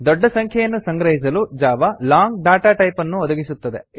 ದೋಡ್ಡ ಸಂಖ್ಯೆಯನ್ನು ಸಂಗ್ರಹಿಸಲು Java long data type ಅನ್ನು ಒದಗಿಸುತ್ತದೆ